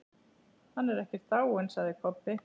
Hann er ekkert dáinn, sagði Kobbi.